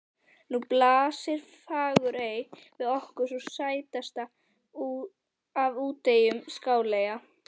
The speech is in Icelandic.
Nú blasir Fagurey við okkur, sú stærsta af úteyjum Skáleyja.